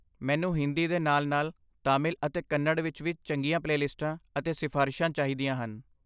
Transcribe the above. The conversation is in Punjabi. ਮੈਨੂੰ ਹਿੰਦੀ ਦੇ ਨਾਲ ਨਾਲ ਤਾਮਿਲ ਅਤੇ ਕੰਨੜ ਵਿੱਚ ਵੀ ਚੰਗੀਆਂ ਪਲੇਲਿਸਟਾਂ ਅਤੇ ਸਿਫ਼ਾਰਸ਼ਾਂ ਚਾਹੀਦੀਆਂ ਹਨ